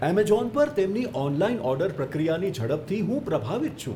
Amazon પર તેમની online order પ્રક્રિયાની ઝડપથી હું પ્રભાવિત છું.